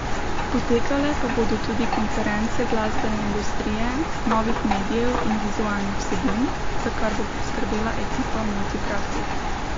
Potekale pa bodo tudi konference glasbene industrije, novih medijev in vizualnih vsebin, za kar bo skrbela ekipa Multipraktik.